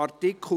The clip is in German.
Besten Dank.